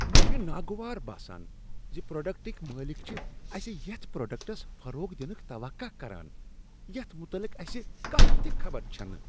مےٚ چُھ ناگوار باسان زِ پروڈکٹٕکۍ مٲلک چِھ اسہِ یَتھ پروڈکٹس فروغ دنٕكۍ توقع کران یَتھ متعلق اسہِ کانٛہہ تہِ خبر چَھنہٕ۔